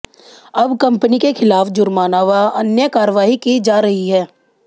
अब कंपनी के खिलाफ जुर्माना व अन्य कार्रवाई की जा रही है